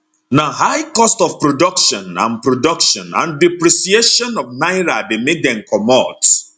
na high cost of production and production and depreciation of naira dey make dem comot